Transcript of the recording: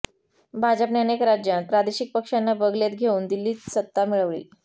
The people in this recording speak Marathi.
भाजपने अनेक राज्यांत प्रादेशिक पक्षांना बगलेत घेऊन दिल्लीत सत्ता मिळविली